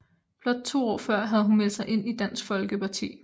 Blot to år før havde hun meldt sig ind i Dansk Folkeparti